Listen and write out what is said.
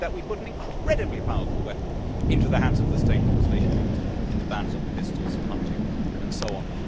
When we did that, we put an incredibly powerful weapon into the hands of the state that was later used in the bans on pistols and hunting and so on.